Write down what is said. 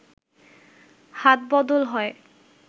হাতবদল হয়